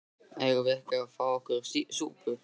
Eigum við ekki að fá okkur súpu?